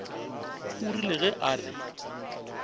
o rile ge a re